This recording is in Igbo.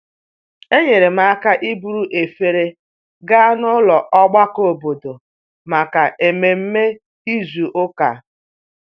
Enyere m aka iburu efere gaa n'ụlọ ogbako obodo maka ememe izu ụka